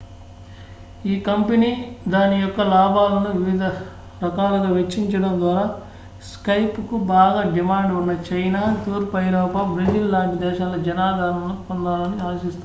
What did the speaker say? ఈ కంపెనీ దాని యొక్క లాభాలను వివిధ రకాలుగా వెచ్చించడం ద్వారా skypeకు బాగా డిమాండ్ ఉన్న చైనా తూర్పు ఐరోపా బ్రెజిల్ లాంటి దేశాలలో జనాదరణను పొందాలని ఆశిస్తోంది